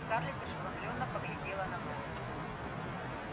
скарлетт ошеломлённо поглядела на мелани